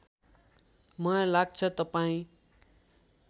मलाई लाग्छ तपाईँ